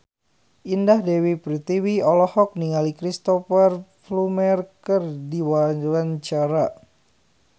Indah Dewi Pertiwi olohok ningali Cristhoper Plumer keur diwawancara